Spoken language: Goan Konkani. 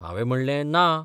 हावें म्हणलें ना.